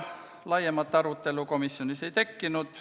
Laiemat arutelu komisjonis ei tekkinud.